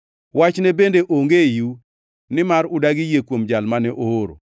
Wachne bende onge eiu, nimar udagi yie kuom Jal mane ooro.